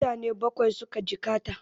Mutane Bakwai suka jikkata